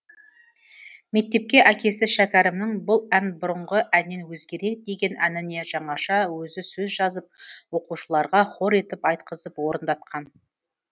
мектепте әкесі шәкәрімнің бұл ән бұрынғы әннен өзгерек деген әніне жаңаша өзі сөз жазып оқушыларға хор етіп айтқызып орындатқан